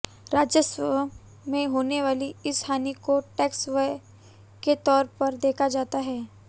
राजस्व में होने वाली इस हानि को टैक्स व्यय के तौर पर देखा जाता है